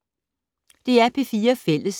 DR P4 Fælles